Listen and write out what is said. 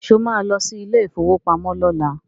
Sọ ma lọ sí ilé ìfowópamọ́ lọ́la?